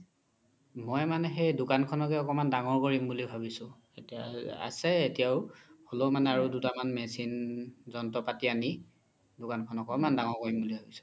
মই মানে সেই দুকান খনেকে অকমান দাঙৰ কৰিম বুলি ভাবিছো আছে এতিয়াও হ্'লেও মানে আৰু দুটা মান machine জন্ত্ৰ পাতি আনি দুকান খন অকমান দাঙৰ কৰিম বুলি ভাবিছো